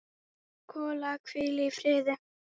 Kolla, hvíl í friði.